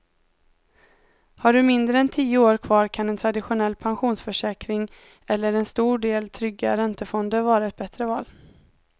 Har du mindre än tio år kvar kan en traditionell pensionsförsäkring eller en stor del trygga räntefonder vara ett bättre val.